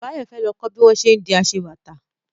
Báyọ̀ fẹ́ lọ kọ́ bí wọ́n ṣé ń di aṣebàtà